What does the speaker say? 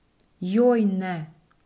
Joj, ne.